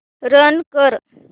run कर